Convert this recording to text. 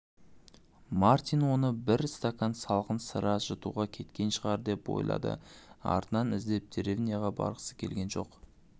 мартин оны бір стакан салқын сыра жұтуға кеткен шығар деп ойлады артынан іздеп деревняға барғысы келген жоқ